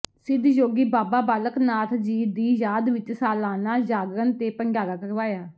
ਸਿੱਧ ਯੋਗੀ ਬਾਬਾ ਬਾਲਕ ਨਾਥ ਜੀ ਦੀ ਯਾਦ ਵਿਚ ਸਾਲਾਨਾ ਜਾਗਰਣ ਤੇ ਭੰਡਾਰਾ ਕਰਵਾਇਆ